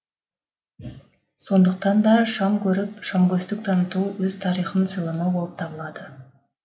сондықтан да шам көріп шамкөстік таныту өз тарихын сыйламау болып табылады